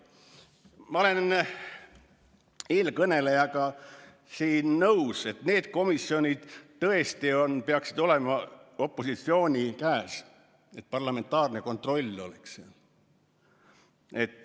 Ma olen eelkõnelejaga nõus, et need komisjonid tõesti peaksid olema opositsiooni käes, selleks et parlamentaarne kontroll toimiks.